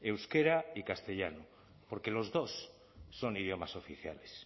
euskera y castellano porque los dos son idiomas oficiales